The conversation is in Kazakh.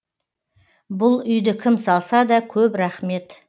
бұл үйді кім салса да көп рақмет